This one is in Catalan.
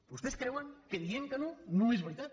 vostès creuen que dient que no no és veritat